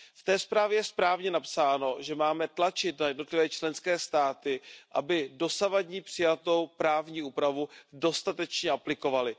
V té zprávě je správně napsáno, že máme tlačit na jednotlivé členské státy, aby dosavadní přijatou právní úpravu dostatečně aplikovaly.